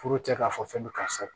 Foro tɛ k'a fɔ fɛn bɛ karisa la